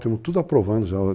Estamos tudo aprovando já.